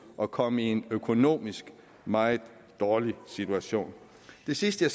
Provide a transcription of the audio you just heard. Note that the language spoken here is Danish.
at komme i en økonomisk meget dårlig situation det sidste